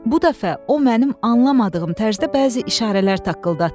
Bu dəfə o mənim anlamadığım tərzdə bəzi işarələr taqqıldatdı.